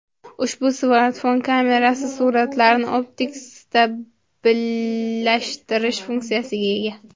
Ushbu smartfon kamerasi suratlarni optik stabillashtirish funksiyasiga ega.